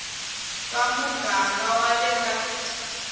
va muganga wa le ka